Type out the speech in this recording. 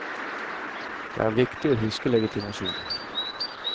Det er viktig å huske legitimasjon.